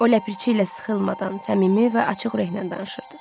O Ləpirçi ilə sıxılmadan, səmimi və açıq ürəklə danışırdı.